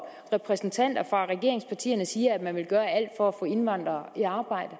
repræsentanter fra regeringspartierne siger at man vil gøre alt for at få indvandrere i arbejde